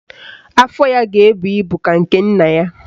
Afọ ya ga-ebu ibu ka nke nna ya